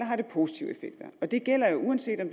har positive effekter og det gælder jo uanset om